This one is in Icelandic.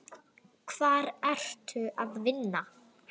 Hvar ertu að vinna?